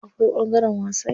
Akwai ɓangaren wasan yara.